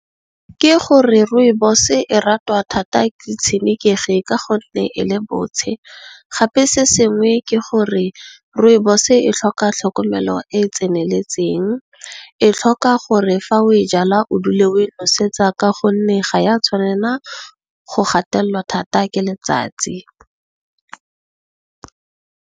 Ke gore Rooibos e ratwa thata ke tshenekegi ka gonne e le botshe gape se sengwe ke gore Rooibos e tlhoka tlhokomelo e e tseneletseng. E tlhoka gore fa o e jalwa o dule o e nosetsa ka gonne, ga ya tshwanela go gatelelwa thata ke letsatsi.